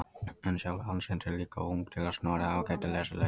En sjálf handritin eru líka of ung til að Snorri hafi getað lesið þau.